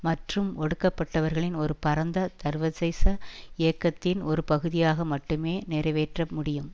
மற்றும் ஒடுக்கப்பட்டவர்களின் ஒரு பரந்த சர்வதேச இயக்கத்தின் ஒரு பகுதியாக மட்டுமே நிறைவேற்ற முடியும்